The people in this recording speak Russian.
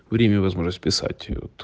время возможность писать